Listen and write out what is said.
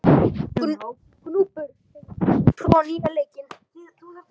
Gnúpur, hefur þú prófað nýja leikinn?